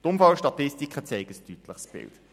Die Unfallstatistiken zeichnen ein deutliches Bild.